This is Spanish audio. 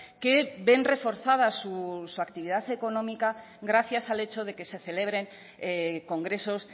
que ven reforzada su actividad económica gracias al hecho de que se celebren congresos